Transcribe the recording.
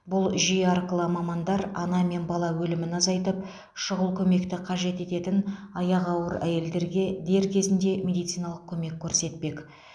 бұл жүйе арқылы мамандар ана мен бала өлімін азайтып шұғыл көмекті қажет ететін аяғы ауыр әйелдерге дер кезінде медициналық көмек көрсетпек